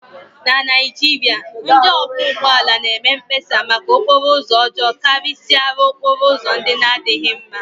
na Naijiria, ndị ọkwọ ụgbọala na-eme mkpesa maka okporo ụzọ ọjọọ karịsịa okporo ụzọ ndị na-adịghị mm